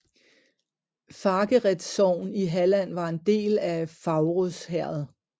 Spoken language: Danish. Fagered sogn i Halland var en del af Faurås herred